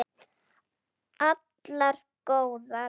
Allar góðar.